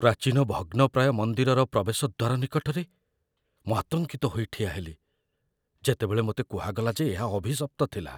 ପ୍ରାଚୀନ ଭଗ୍ନପ୍ରାୟ ମନ୍ଦିରର ପ୍ରବେଶ ଦ୍ୱାର ନିକଟରେ ମୁଁ ଆତଙ୍କିତ ହୋଇ ଠିଆହେଲି ଯେତେବେଳେ ମୋତେ କୁହାଗଲା ଯେ ଏହା ଅଭିଶପ୍ତ ଥିଲା।